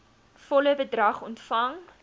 volle bedrag ontvang